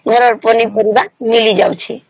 ଘରର ପନିପରିବା ମିଳି ଯାଉଛି